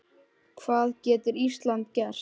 Hvað getur Ísland gert?